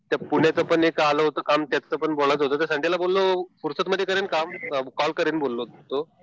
ते पुण्याचं पण एक आलं होतं काम त्याच पण बोलायचं होतं. संडेला बोललो फुर्सतमध्ये करेल कॉल, कॉल करील बोललो होतो.